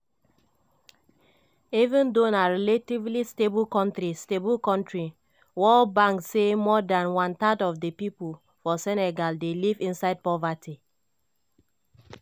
even though na relatively stable kontri stable kontri world bank say more than one third of di pipo for senegal dey live inside poverty.